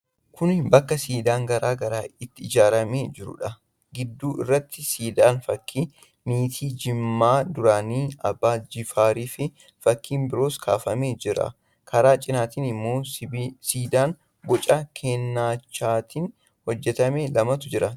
Kun bakka siidaan garaa garaa itti ijaaramee jiruudha. Gidduu irratti siidaan fakkii miitii Jimmaa duraanii Abbaa Jifaarii fi fakkii biroonis kaafamee jira. Karaa cinaatiin immoo siidaa boca keencaatiin hojjetame lamatu jira.